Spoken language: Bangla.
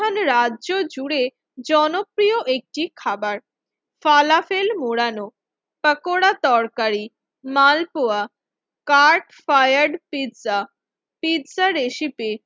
রাজস্থান রাজ্য জুড়ে জনপ্রিয় একটি খাবার ফলা তেল মোড়ানো পাকোড়া তরকারি মালপোয়া কার্ড ফ্রয়াড পিজ্জা পিজ্জা রেসিপি